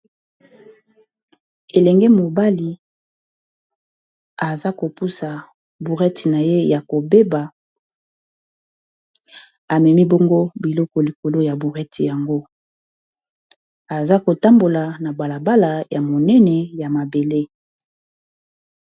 elenge mobali aza kopusa bourete na ye ya kobeba amemi bongo biloko likolo ya bourrete yango aza kotambola na balabala ya monene ya mabele